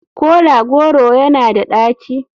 Kola goro yana da daci?